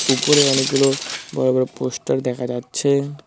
উপরে অনেকগুলো বড় বড় পোস্টার দেখা যাচ্ছে।